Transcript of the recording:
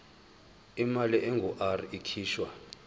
imali engur ikhishwa